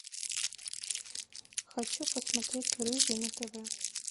хочу посмотреть рыжий на тв